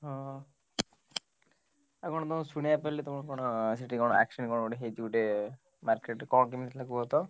ହଁ ଆଉ କଣ ତମ ଶୁଣିଆକୁ ପାଇଲି ତମର କଣ ସେଠି କଣ accident କଣ ଗୋଟେ ହେଇଛି ଗୋଟେ market ରେ କଣ କେମିତି ହେଇଥିଲା କୁହତ।